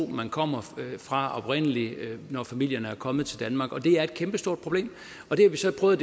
man kom fra oprindelig da familierne kom til danmark det er et kæmpestort problem og det har vi så prøvet